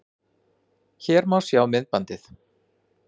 Hér má sjá myndbandið